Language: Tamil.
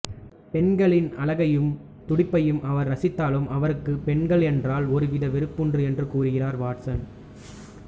பெண்களின் அழகையும் துடிப்பையும் அவர் ரசித்தாலும் அவருக்கு பெண்களென்றால் ஒருவித வெறுப்புண்டு என்று கூறுகிறார் வாட்சன்